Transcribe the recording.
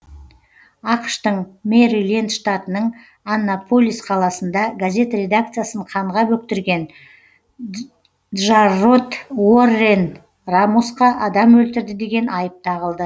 ақш тың мэриленд штатының аннаполис қаласында газет редакциясын қанға бөктірген джаррод уоррен рамосқа адам өлтірді деген айып тағылды